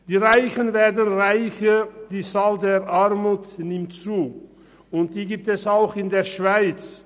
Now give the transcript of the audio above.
Die Reichen werden reicher, die Zahl der Armen nimmt zu, und die gibt es auch in der Schweiz.